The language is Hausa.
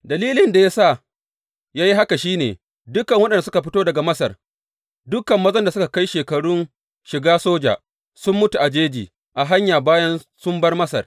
Dalilin da ya sa ya yi haka shi ne, dukan waɗanda suka fito daga Masar, dukan mazan da suka kai shekarun shiga soja, sun mutu a cikin jeji a hanya bayan sun bar Masar.